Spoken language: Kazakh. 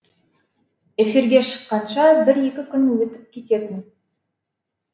эфирге шыққанша бір екі күн өтіп кететін